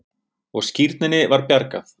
Og skírninni var bjargað.